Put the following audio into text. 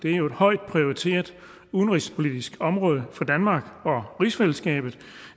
er jo et højt prioriteret udenrigspolitisk område for danmark og rigsfællesskabet